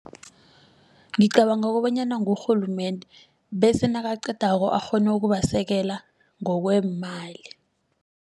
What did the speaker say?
Ngicabanga kobanyana ngurhulumende bese nakaqedako akghone ukubasekela ngokweemali.